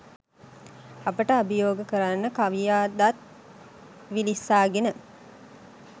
අපට අභියෝග කරන කවියා දත් විලිස්සාගෙන